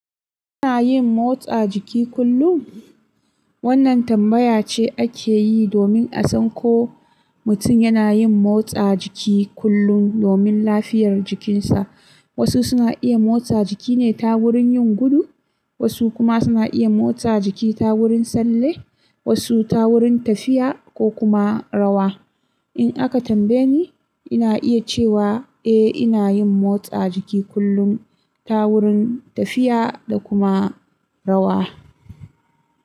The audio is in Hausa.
Kana yin motsa jiki kullum? Wannan tambaya ce ake yi domin a san ko mutum yana yin motsa jiki kullum domin lafiyar jikinsa. Wasu suna iya motsa jiki ne ta wurin yin gudu, wasu kuma suna iya motsa jiki ta wurin talle, wasu ta wurin tafiya ko kuma rawa. In aka tambaye ni, ina iya cewa eh ina yin motsa jiki kullum ta wurin tafiya da kuma rawa.